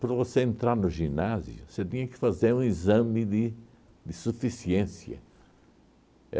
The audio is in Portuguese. Para você entrar no ginásio, você tinha que fazer um exame de de suficiência.